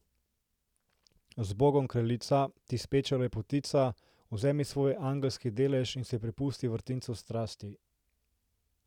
Zbogom, kraljica, ti speča lepotica, vzemi svoj angelski delež in se prepusti vrtincu strasti.